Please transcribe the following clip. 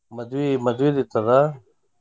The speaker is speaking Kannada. ಮದ್ವಿ ಮದ್ವಿದ ಇತ್ತ ಅದ.